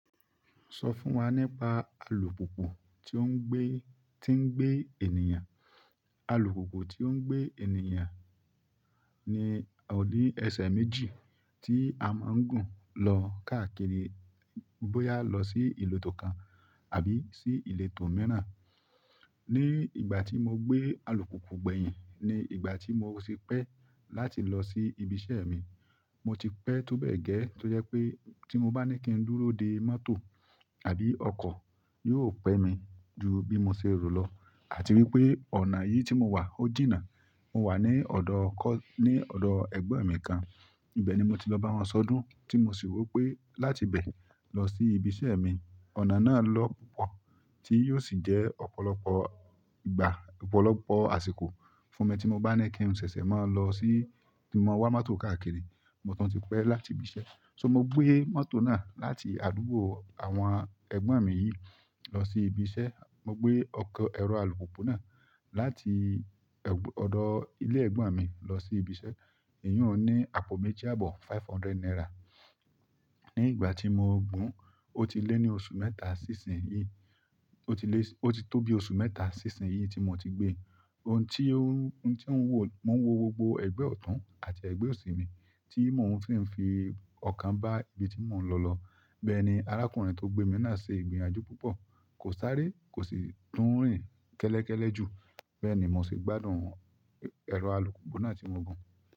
Sọ fún wa nípa alùpùpù tó ń gbé, tí ń gbé ènìyàn. Alùpùpù tí ó ń gbé ènìyàn ní ọ̀ní ẹsẹ̀ méjì tí a máa ń gùn lọ káàkiri bóyá lọ sí ìletó kan àbí sí ilétó míràn. Ni ìgbà tí mo gbé alùpùpù gbẹ̀yìn ni ìgbà tí mo sì pẹ́ láti lọ sí ibi iṣeẹ́ mi. Mo ti pẹ́ tó bẹ́ẹ̀ gẹ́ tó jẹ́ pé tí mo bá ní kí n dúró de mọ́tò àbí ọkọ̀ yóò pẹ́ mi ju bí mo ṣe rò lọ àti wípé ọ̀nà yìí tí mo wà ó jìnnà. Mo wà ní ọ̀dọ̀ kọ́, ní ọ̀dọ̀ ẹgbon mi kan. Ibẹ̀ ni mo ti lọ bá wọn sọdún tí mo sì wo pé láti bẹ̀ lọ sí ibi iṣẹ́e mi. Ọ̀nà náà lo po, ti o si je ọ̀pọ̀lọpọ̀ ìgbà- ọ̀pọ̀lọpọ̀ àsìkò fúnmi tí mo bá ní kí n ṣẹ̀ṣẹ̀ máa lọ sí kin mo wa mọ́tò káàkiri, mo tun ti pẹ́ láti ibi iṣẹ́. So mo gbé mọ́tò náà láti àdúgbò àwọn ẹgbọ́n mi yìí lọ sí ibi iṣẹ́. Mo gbé ọkọ̀ ẹ̀rọ alùpùpù náà láti ẹ̀, ọ̀dọ̀ ilé ẹgbọ́n mi lọ sí ibi iṣẹ́. Èyí ò ní àpò méjì àbọ̀, five hundred naira. Ni ìgbà tí mo gùn ó ti lé ní oṣù mẹ́ta sí ìsin yìí, ó ti lé, ó ti tó bí oṣù mẹ́ta sí ìsin yìí tí mo ti gbé. Ohun tí ó ń, ohun tí ń wò, mò ń wo gbogbo ẹgbẹ́ ọ̀tún àti ẹ̀gbẹ́ òsì mi tí mò ń sí ń fi ọkàn bá ibi tí mò ń lọ lọ. Bẹ́ẹ̀ ni arákùnrin tó gbé mi náà ṣe ìgbíyànjú púpọ̀. Kò sáré, kò sì nnrìn kẹ́lẹ̀kẹ́lẹ̀ jù. Bẹ́ẹ̀ ni mo sì gbádùn ẹ̀rọ alùpùpù náà tí mo gùn.